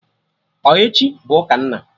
Ọ echi bụ ụka nna?